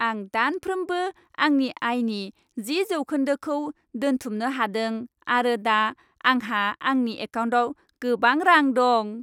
आं दानफ्रोमबो आंनि आयनि जि जौखोन्दोखौ दोनथुमनो हादों आरो दा आंहा आंनि एकाउन्टाव गोबां रां दं।